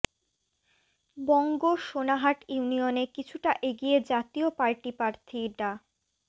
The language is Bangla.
বঙ্গ সোনাহাট ইউনিয়নে কিছুটা এগিয়ে জাতীয় পার্টি প্রার্থী ডা